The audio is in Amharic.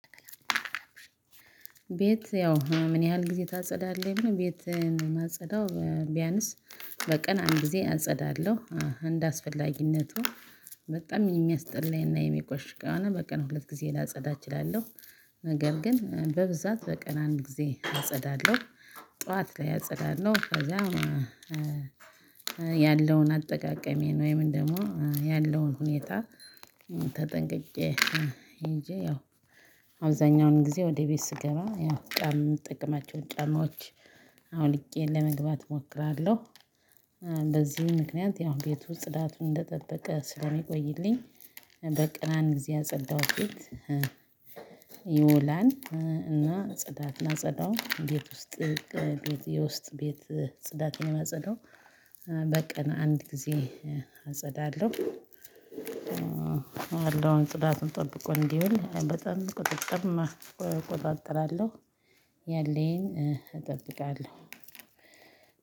ቤት ያው ምን ያህል ጊዜ ታጸዳለህ ቤት ማጸዳው ቢያንስ በቀን አንድ ጊዜ አጸዳለሁ እንደአስፈላጊነቱ በጣም የሚያስጠላኝና የሚቆሽሽ ከሆነ በቀን ሁለት ጊዜ ላጸዳ እችላለሁ። ነገር ግን በብዛት በቀን አንድ ጊዜ አጸዳለሁ። ጠዋት ላይ አጸዳለሁ ከዛ ያለውን አጠቃቀሜ ወይም ደግሞ ያለውን ሁኔታ ተጠንቅቄ ሄጄ ያው አብዛኛውን ጊዜ ወደ ቤት ስገባ ያው ጫማ የምጠቀማቸውን ጫማዎች አውልቄ ለመግባት እሞክራለሁ በዚህ ምክንያት ያው ቤቱ ጽዳቱን እንደጠበቀ ስለሚቆይልኝ በቀን አንድ ጊዜ ያጸዳሁት ቤት ይውላን እና ጽዳትን ላጸዳው ቤት ውስጥ የውስጥ ቤት ጽዳት የማጸዳው በቀን አንድ ጊዜ አጸዳለሁ ያለውን ጽዳቱን ጠብቆ እንዲውል በጣም ቁጥጥር እቆጣጠራለሁ ያለኝን እጠብቃለሁ።